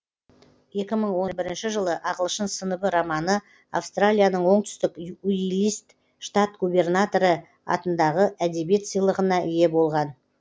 екі мың он бірінші жылы ағылшын сыныбы романы австралияның оңтүстік уилист штат гобернаторы атындағы әдебиет сыйлығына ие болған